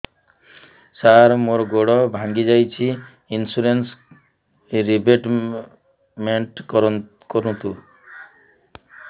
ସାର ମୋର ଗୋଡ ଭାଙ୍ଗି ଯାଇଛି ଇନ୍ସୁରେନ୍ସ ରିବେଟମେଣ୍ଟ କରୁନ୍ତୁ